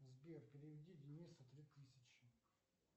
сбер переведи денису три тысячи